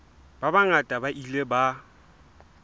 ba bangata ba ile ba